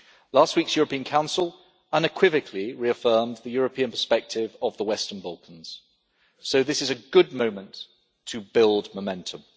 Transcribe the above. Last week's European Council unequivocally reaffirmed the European perspective of the Western Balkans, so this is a good moment to build momentum.